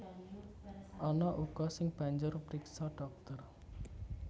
Ana uga sing banjur priksa dhokter